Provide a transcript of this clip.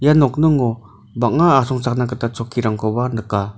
ia nokningo bang·a asongchakna gita chokkirangkoba nika.